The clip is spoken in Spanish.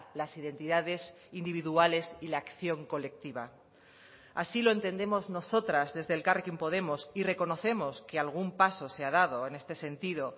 las identidades individuales y la acción colectiva así lo entendemos nosotras desde elkarrekin podemos y reconocemos que algún paso se ha dado en este sentido